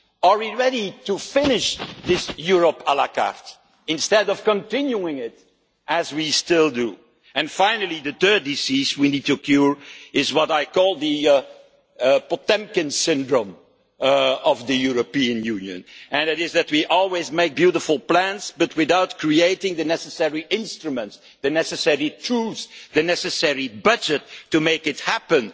Are we ready to finish this Europe la carte instead of continuing it as we still do? Finally, the third disease we need to cure is what I call the Potemkin syndrome' of the European Union that we always make beautiful plans, but without creating the necessary instruments, the necessary tools, or the necessary budget to make it happen.